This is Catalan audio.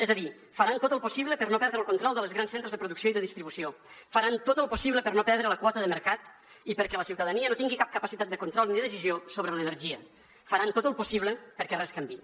és a dir faran tot el possible per no perdre el control dels grans centres de producció i de distribució faran tot el possible per no perdre la quota de mercat i perquè la ciutadania no tingui cap capacitat de control ni decisió sobre l’energia faran tot el possible perquè res canviï